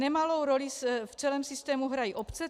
Nemalou roli v celém systému hrají obce.